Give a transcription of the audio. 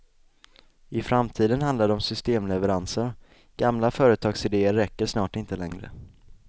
I framtiden handlar det om systemleveranser, gamla företagsidéer räcker snart inte längre.